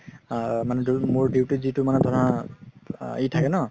আ মোৰ duty ত যিতো মানে ধৰা ই থাকে ন